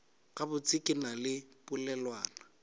gabotse ke na le polelwana